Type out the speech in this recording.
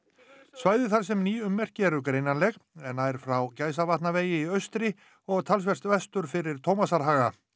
svæðið þar sem ný ummerki eru nær frá Gæsavatnavegi í austri og talsvert vestur fyrir Tómasarhaga